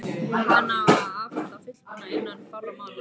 Hana á að afhenda fullbúna innan fárra mánaða.